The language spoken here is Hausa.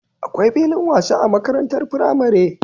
Akwai filin wasa a makarantar firamare